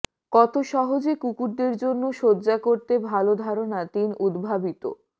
কত সহজে কুকুরদের জন্য শয্যা করতে ভাল ধারনা তিন উদ্ভাবিত